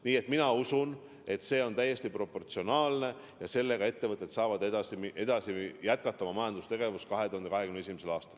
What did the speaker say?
Nii et mina usun, et see on täiesti proportsionaalne meede ja ettevõtted saavad edasi minna ja jätkata oma majandustegevust 2021. aastal.